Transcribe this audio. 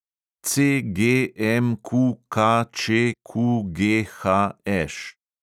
CGMQKČQGHŠ